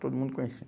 Todo mundo